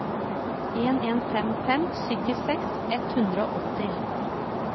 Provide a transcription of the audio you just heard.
en en fem fem syttiseks ett hundre og åtti